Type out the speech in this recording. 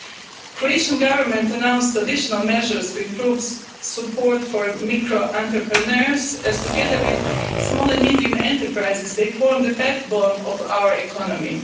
The Croatian Government has announced additional measures to improve support for micro entrepreneurs, as together with small and medium enterprises, they form the backbone of our economy.